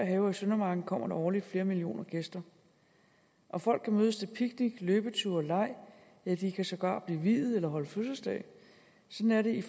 have og søndermarken kommer der årligt flere millioner gæster og folk kan mødes til picnic løbeture leg ja de kan sågar blive viet eller holde fødselsdag sådan er det i